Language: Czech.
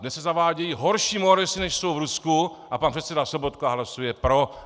Dnes se zavádějí horší moresy, než jsou v Rusku, a pan předseda Sobotka hlasuje pro.